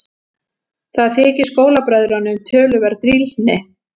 Það þykir skólabræðrunum töluverð drýldni.